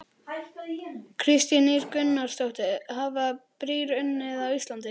Kristín Ýr Gunnarsdóttir: Hafa brýr hrunið á Íslandi?